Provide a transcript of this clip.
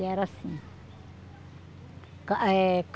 E era assim. Eh